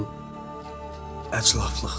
Bu əclafıqdır.